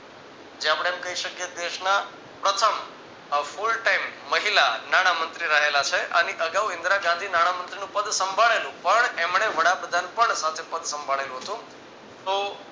જે આપડે એમ કહી શકીયે કે દેશના પ્રથમ અ full time મહિલા નાણામંત્રી રહેલા છે. આની અગાઉ ઈન્દીરા ગાંધી નાણામંત્રીનું પદ સાંભળેલું પણ એમને વડાપ્રધાન પદ સાથે પદ સાંભળેલું હતું. તો